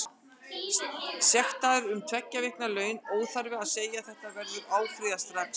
Sektaður um tveggja vikna laun, óþarfi að segja að þessu verður áfrýjað strax.